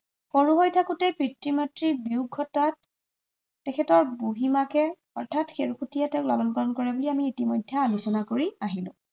সৰু হৈ থাকোতেই পিতৃ মাতৃৰ বিয়োগ ঘটাত তেখেতৰ বুঢ়ীমাকে অৰ্থাৎ খেৰসুতীয়ে তেওঁক লালন-পালন কৰে বুলি আমি ইতিমধ্য়ে আলোচনা কৰি